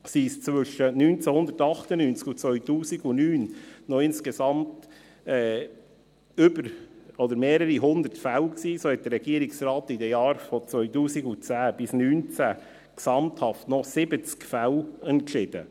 Waren es zwischen 1998 und 2009 noch insgesamt mehrere hundert Fälle, so entschied der Regierungsrat in den Jahren von 2010 bis 2019 gesamthaft noch 70 Fälle.